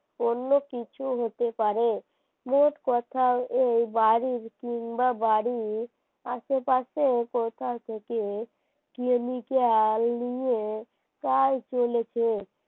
অন্য কিছু হতে পারে মোট কথা এই বাড়ির কিংবা বাড়ির আশেপাশে কোথা থেকে Chemical নিয়ে কাজ চলেছে